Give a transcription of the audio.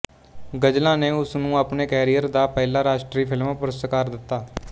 ਗ਼ਜ਼ਲਾਂ ਨੇ ਉਸ ਨੂੰ ਆਪਣੇ ਕੈਰੀਅਰ ਦਾ ਪਹਿਲਾ ਰਾਸ਼ਟਰੀ ਫ਼ਿਲਮ ਪੁਰਸਕਾਰ ਦਿੱਤਾ